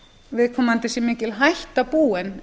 viðkomandi sé mikil hætta búin